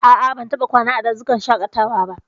A'a, ban taɓa kwana a dazukan shaƙatawa ba.